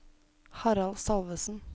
Harald Salvesen